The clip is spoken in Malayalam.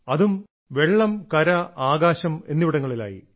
അതും ജലം കര ആകാശം എന്നിവിടങ്ങളിലായി